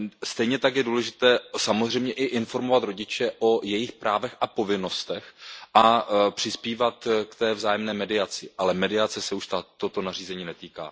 Stejně tak je důležité samozřejmě i informovat rodiče o jejich právech a povinnostech a přispívat k té vzájemné mediaci, ale mediace se už toto nařízení netýká.